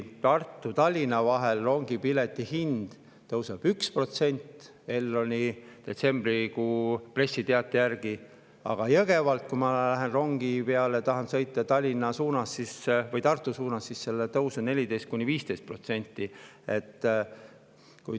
Tartu-Tallinna rongi pileti hind tõuseb 1% Elroni detsembrikuise pressiteate järgi, aga kui ma lähen Jõgevalt rongi peale ja tahan sõita Tallinna või Tartu suunas, siis on tõus 14–15%.